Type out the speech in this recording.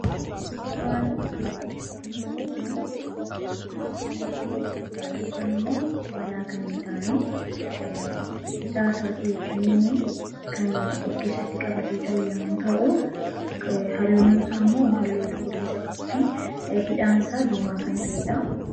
Suuraan armaan gaditti mul'atu kun kophee duudaa yookaan immoo banaa kan hin taane hidhaa isaa wajjin kan of keessatti qabatee jiru yommuu ta'u, halluun isaammoo halluu cuquliisaa fi hidhaan isaa diimaa kan ta'edha.